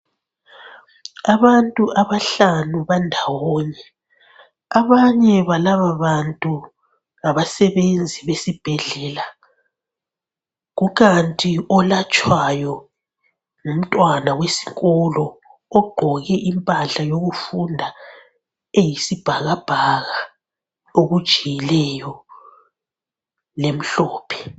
Abantu abahlanu bandawonye abanye balaba bantu ngabasebenzi besibhedlela, kukanti olatshwayo ngumntwana wesikolo ogqoke impahla yokufunda eyisibhakabhaka okujiyileyo le mhlophe.